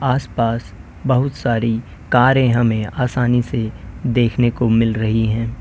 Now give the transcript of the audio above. आसपास बहुत सारी कारें हमें आसानी से देखने को मिल रही हैं।